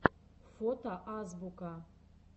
фото азбука